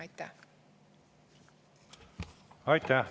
Aitäh!